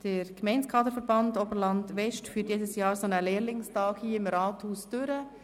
Der Gemeindekaderverband Oberland-West führt jedes Jahr einen Lehrlingstag hier im Grossen Rat durch.